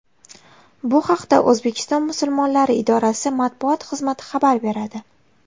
Bu haqda O‘zbekiston musulmonlari idorasi Matbuot xizmati xabar beradi .